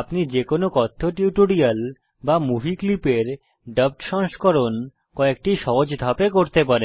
আপনি যে কোনো কথ্য টিউটোরিয়াল বা মুভি ক্লিপের ডাবড সংস্করণ কয়েকটি সহজ ধাপে করতে পারেন